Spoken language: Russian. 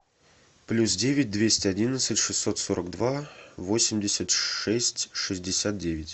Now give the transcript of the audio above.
плюс девять двести одиннадцать шестьсот сорок два восемьдесят шесть шестьдесят девять